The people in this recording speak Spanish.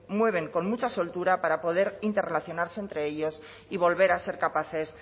mueven con mucha soltura para poder interrelacionarse entre ellos y volver a ser capaces